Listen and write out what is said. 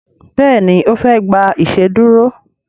Béèni ofe gbà iṣeduro.